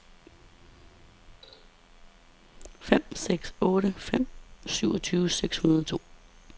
fem seks otte fem syvogtyve seks hundrede og to